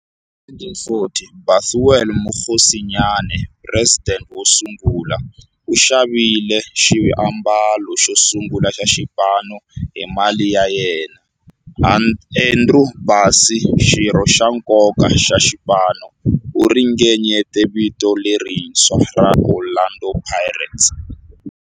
Hi 1940, Bethuel Mokgosinyane, president wosungula, u xavile xiambalo xosungula xa xipano hi mali ya yena. Andrew Bassie, xirho xa nkoka xa xipano, u ringanyete vito lerintshwa ra 'Orlando Pirates'.